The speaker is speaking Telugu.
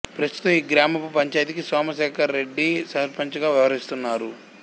ప్రస్తుతం ఈ గ్రామపు పంచాయతికి సోమశేఖర్ రెడ్డి సర్పంచుగా వ్యవహరిస్తున్నారు